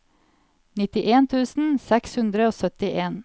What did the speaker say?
nittien tusen seks hundre og syttien